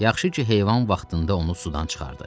Yaxşı ki, heyvan vaxtında onu sudan çıxardı.